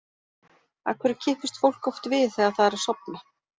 Af hverju kippist fólk oft við þegar það er að sofna?